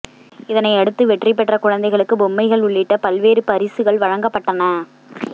இதனையடுத்து வெற்றி பெற்ற குழந்தைகளுக்கு பொம்மைகள் உள்ளிட்ட பல்வேறு பரிசுகள் வழங்கப்பட்டன